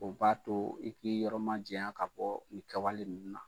O b'a too i k'i yɔrɔma jɛɲa ka bɔɔ nin kawale ninnu na.